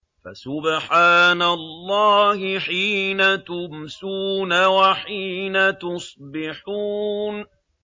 فَسُبْحَانَ اللَّهِ حِينَ تُمْسُونَ وَحِينَ تُصْبِحُونَ